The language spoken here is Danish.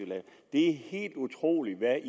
er helt utroligt hvad